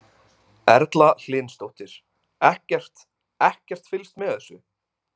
Erla Hlynsdóttir: Ekkert, ekkert fylgst með þessu?